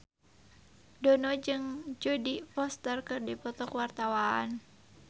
Dono jeung Jodie Foster keur dipoto ku wartawan